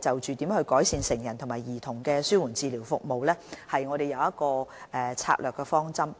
就如何改善成人和兒童的紓緩治療服務釐定了策略方針。